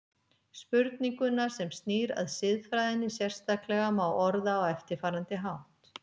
Spurninguna sem snýr að siðfræðinni sérstaklega má orða á eftirfarandi hátt